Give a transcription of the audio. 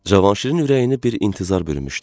Cavanşirin ürəyini bir intizar bürümüşdü.